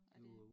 Er det